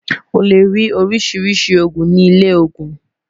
ó lè rí oríṣiríṣi ogún ní ilè ogún